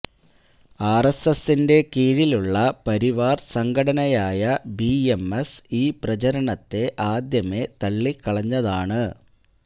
ആര്എസ്എസിന്റെ കീഴിലുള്ള പരിവാര് സംഘടനയായ ബിഎംഎസ് ഈ പ്രചരണത്തെ ആദ്യമേ തള്ളിക്കളഞ്ഞതാണ്